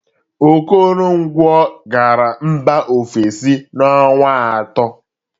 Okoronkwọ gara mba ofesi na ọnwa atọ.